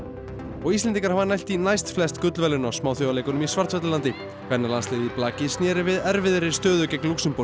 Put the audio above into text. og Íslendingar hafa nælt í næst flest gullverðlaun á Smáþjóðleikunum í Svartfjallalandi kvennalandsliðið í blaki sneri við erfiðri stöðu gegn Lúxemborg